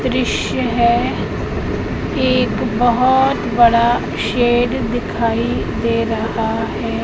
दृश्य है एक बहोत बड़ा शेर दिखाई दे रहा है।